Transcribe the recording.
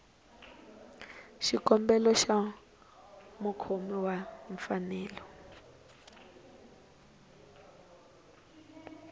xikombelo xa mukhomi wa mfanelo